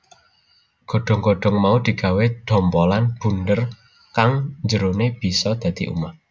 Godhong godhong mau digawé dhompolan bunder kang njerone bisa dadi omah